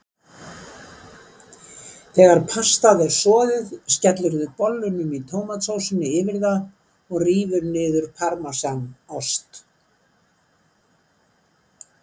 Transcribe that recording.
Þegar pastað er soðið skellirðu bollunum í tómatsósunni yfir það og rífur niður parmesanost.